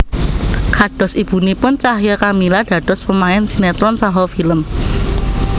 Kados ibunipun Cahya Kamila dados pemain sinétron saha film